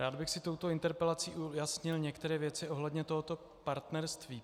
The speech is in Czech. Rád bych si touto interpelací ujasnil některé věci ohledně tohoto partnerství.